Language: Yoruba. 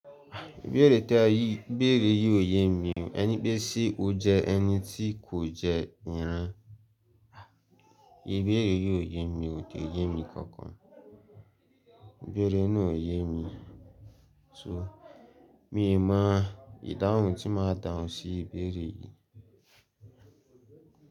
Ìbéèrè tí ẹ yìí, ìbéèrè yìí ò ye mi. Ẹ ní pé ṣé o jẹ ẹni tí kò jẹ ìrin? Ìbéèrè yìí ò ye mi, ko yé mi kankan. Ìbéèrè náà ò yé mi. So míì mọ ìdáhùn tí màá dáhùn sí ìbéèrè yìí.